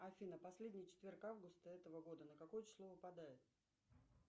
афина последний четверг августа этого года на какое число выпадает